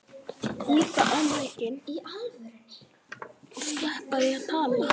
Bikar undir stétt er sú.